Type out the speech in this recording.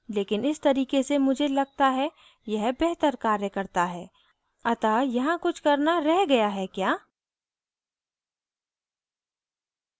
लेकिन इस तरीके से मुझे लगता है यह बेहतर कार्य करता है अतः यहाँ कुछ करना रह गया है क्या